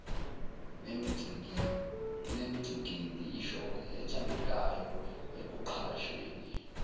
nemicikilisho ethandekayo ekuqashweni